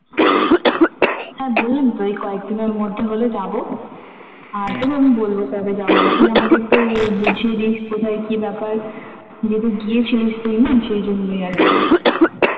হ্যাঁ বললাম তো এই কয়েকদিনের মধ্যে হলে যাবো আর তোকে আমি বলবো কবে যাবো তুই আমাকে একটু বুঝিয়ে দিস কোথায় কি ব্যাপার যেহেতু গিয়েছিলি তুই না সেই জন্যই